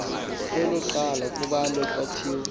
kwelokuqala kubhalwe kwathiwa